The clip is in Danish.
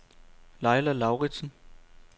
Laila Lauritzen